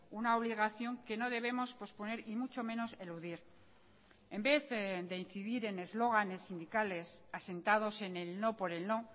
una obligación que no debemos posponer y mucho menos eludir en vez de incidir en eslóganes sindicales asentados en el no por el no